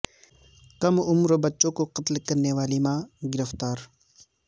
کم عمر بچوں کو قتل کرنے والی ماں گرفتار